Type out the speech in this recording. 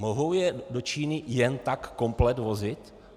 Mohou je do Číny jen tak komplet vozit?